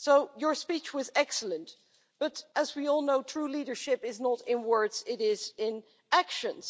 Your speech was excellent, but as we all know, true leadership is not in words it is in actions.